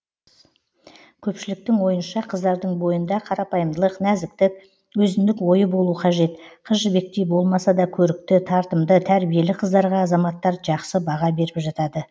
көпшіліктің ойынша қыздардың бойында қарапайымдылық нәзіктік өзіндік ойы болу қажет қыз жібектей болмаса да көрікті тартымды тәрбиелі қыздарға азаматтар жақсы баға беріп жатады